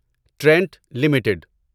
Trent limited